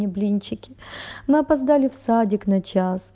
блинчики мы опоздали в садик на час